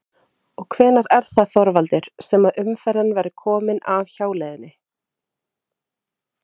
Og hvenær er það Þorvaldur sem að umferðin verður komin af hjáleiðinni?